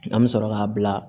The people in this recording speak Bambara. An bɛ sɔrɔ k'a bila